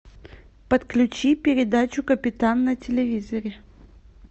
подключи передачу капитан на телевизоре